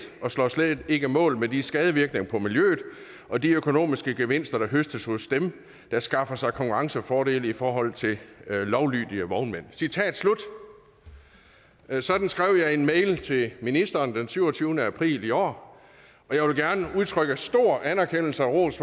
og står slet ikke mål med de skadevirkninger på miljøet og de økonomiske gevinster der høstes hos dem der skaffer sig konkurrencefordele i forhold til lovlydige vognmænd citat slut sådan skrev jeg i en mail til ministeren den syvogtyvende april i år og jeg vil gerne udtrykke stor anerkendelse og ros